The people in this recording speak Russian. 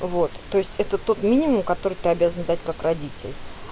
вот то есть это тот минимум который ты обязан дать как родитель